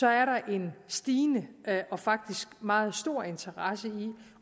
er der en stigende og faktisk meget stor interesse i